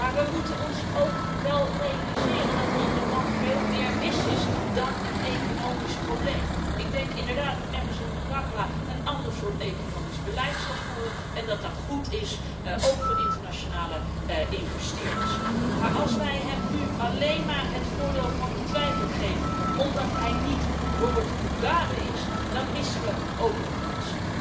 Maar we moeten ons ook wel realiseren dat er in dat land veel meer mis is dan alleen maar een economisch probleem. Ik denk inderdaad dat Emmerson Mnangagwa een ander soort economisch beleid zal voeren en dat dat goed is ook voor internationale investeerders. Maar als wij hem nu alleen maar het voordeel van de twijfel gegeven omdat hij niet Robert Mugabe is, dan missen we ook een kans.